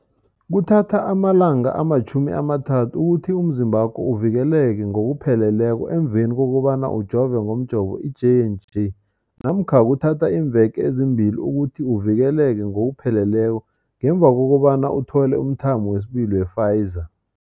Kuthatha amalanga ama-30 ukuthi umzimbakho uvikeleke ngokupheleleko emveni kobana ujove ngomjovo i-J and J namkha kuthatha iimveke ezimbili ukuthi uvikeleke ngokupheleleko ngemva kobana uthole umthamo wesibili wePfizer.